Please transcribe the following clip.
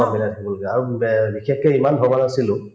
চব মিলাই থাকিবলগীয়া আৰু বে বিশেষকে ইমান ভবা নাছিলো